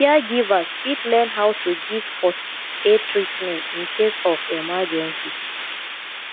caregivers fit learn how to give first aid treatment incase of emergency